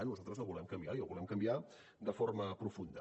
nosaltres el volem canviar i el volem canviar de forma profunda